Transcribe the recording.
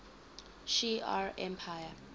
shi ar empire